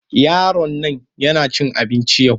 Yaron nan yana cin abinci yau.